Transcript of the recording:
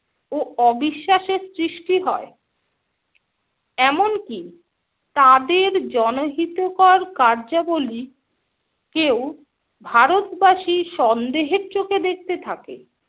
ও অবিশ্বাসের সৃষ্টি হয়। এমনকি তাদের জনহিতকর কার্যবলি কেও ভারতবাসী সন্দেহের চোখে দেখতে থাকে।